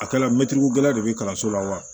A kɛla mɛtirigokɛlan de bɛ kalanso la wa